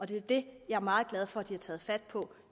det er det jeg er meget glad for at de har taget fat på